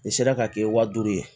Nin sera ka kɛ wa duuru ye